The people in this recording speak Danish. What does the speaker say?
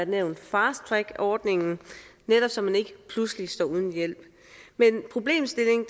nævne fast track ordningen netop så man ikke pludselig står uden hjælp men problemstillingen